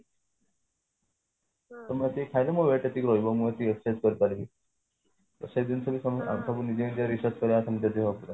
ତ ମୁଁ ଏତିକି ଖାଇଲେ ମୋର weight ଏତିକି ରହିବ ମୁଁ ଏତିକି expose କରି ପାରିବି ତ ସେଇ ଜିନିଷରେ ତମେ ନିଜେ ନିଜେ କରିବା